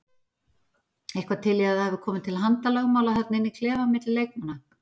Eitthvað til í að það hafi komið til handalögmála þarna inn í klefa milli leikmanna?